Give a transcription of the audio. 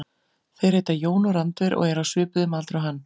Þeir heita Jón og Randver og eru á svipuðum aldri og hann.